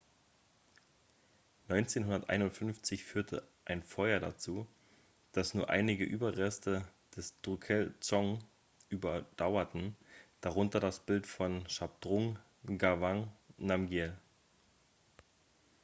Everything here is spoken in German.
1951 führte ein feuer dazu dass nur einige überreste des drukyel-dzong überdauerten darunter das bild von shabdrung ngawang namgyel